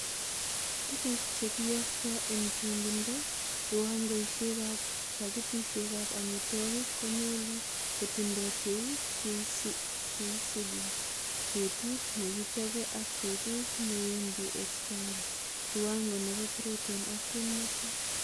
Tuguk che kiyokto en chongindo, kiwangoisiek ab pakitisiek ab amitwogik konyolu kotindo cheu cheisibu; betut nekikichobe ak betut newendi expiry, kiwango nebo protein ak kimnotet.